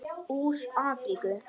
Úr Afríku!